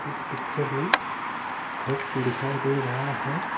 इस पिक्चर में घर दिखाई दे रहा है।